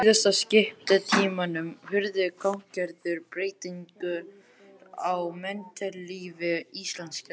Á siðskiptatímanum urðu gagngerðar breytingar á menntalífi Íslendinga.